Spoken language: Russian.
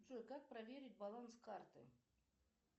джой как проверить баланс карты